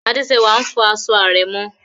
Adésẹwà n fọ aṣọ àrẹ̀mọ